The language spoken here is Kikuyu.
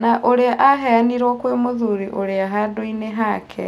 Na ũrĩa aheanirwo kwĩ mũthuri ũrĩa handũinĩ hake.